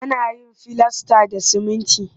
Ana yin filasta da siminti